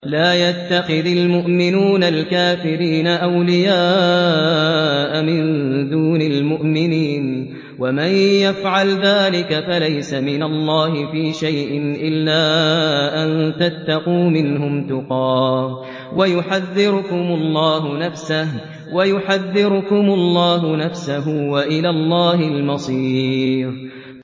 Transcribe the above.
لَّا يَتَّخِذِ الْمُؤْمِنُونَ الْكَافِرِينَ أَوْلِيَاءَ مِن دُونِ الْمُؤْمِنِينَ ۖ وَمَن يَفْعَلْ ذَٰلِكَ فَلَيْسَ مِنَ اللَّهِ فِي شَيْءٍ إِلَّا أَن تَتَّقُوا مِنْهُمْ تُقَاةً ۗ وَيُحَذِّرُكُمُ اللَّهُ نَفْسَهُ ۗ وَإِلَى اللَّهِ الْمَصِيرُ